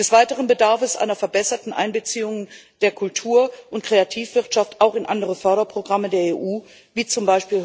Des Weiteren bedarf es einer verbesserten Einbeziehung der Kultur und Kreativwirtschaft auch in andere Förderprogramme der EU wie z.